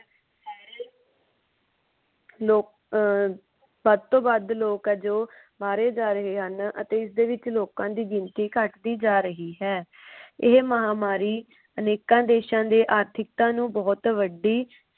ਲੋਕ ਅਹ ਸਬ ਤੋਂ ਵੱਧ ਲੋਕ ਆ ਜੋ ਮਾਰੇ ਜਾ ਰਹੇ ਹਨ ਅਤੇ ਇਸਦੇ ਵਿਚ ਲੋਕਾਂ ਦੀ ਗਿਣਤੀ ਘੱਟਦੀ ਜਾ ਰਹੀ ਹੈ। ਇਹ ਮਹਾਮਾਰੀ ਅਨੇਕਾਂ ਦੇਸ਼ਾਂ ਦੇ ਆਰਥਿਕਤਾ ਨੂੰ ਬੋਹਤ ਵੱਡੀ